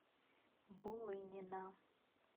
булынина